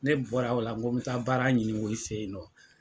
Ne bɔra o la ko n bɛ taa baara ɲini o y'i fɛ yen nɔ.